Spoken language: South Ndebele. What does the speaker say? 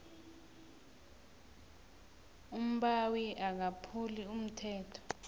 umbawi akaphuli umthetho